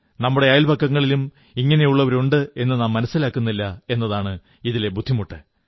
നമ്മുടെ അയൽപക്കങ്ങളിലും ഇങ്ങനെയുള്ളവരുണ്ടെന്നു നാം മനസ്സിലാക്കുന്നില്ല എന്നതാണ് ഇതിലെ ബുദ്ധിമുട്ട്